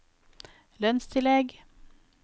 lønnstillegg